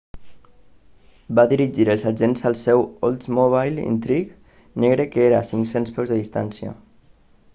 va dirigir els agents al seu oldsmobile intrigue negre que era a 500 peus de distància